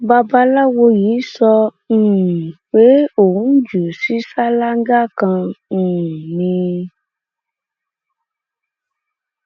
babaláwo yìí sọ um pé òun jù ú sí ṣáláńgá kan um ni